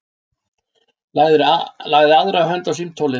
Lagði aðra hönd á símtólið.